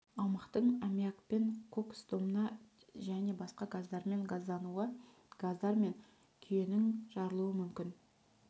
аумақтың аммиакпен кокс домна және басқа газдармен газдануы газдар мен күйенің жарылуы мүмкін